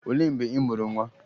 Olee mgbe ị mụrụ nwa?